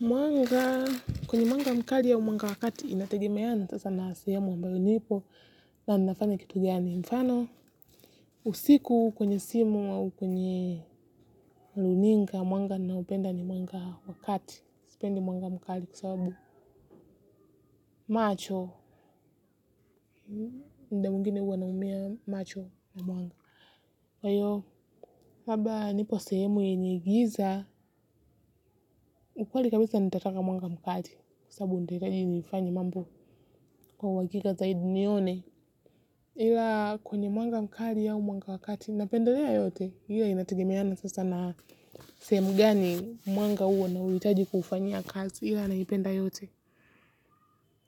Mwanga, kwenye mwanga mkali au mwanga wa kati inategemeana, sasa na sehemu ambayo nipo na nnafanya kitu gani mfano. Usiku kwenye simu au kwenye luninga mwanga nnaopenda ni mwanga wa wakati, spendi mwanga mkali kwa sababu macho, mda mwingine huwa namumia macho na mwanga. Kwa hiyo, labda nipo sehemu yenye giza, ukweli kabisa nitataka mwanga mkali kusabu ntahitaji nifanye mambo kwa uhakika zaidi nione. Ila kwenye mwanga mkali au mwanga wakati napendelea yote ila inategemeana sasa na sehemu gani mwanga huo nauhitaji kufanya kati ila naipenda yote.